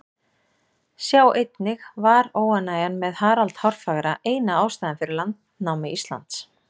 Sjá einnig Var óánægjan með Harald hárfagra eina ástæðan fyrir landnámi Íslands?